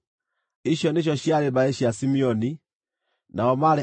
Icio nĩcio ciarĩ mbarĩ cia Simeoni; nao maarĩ andũ 22,200.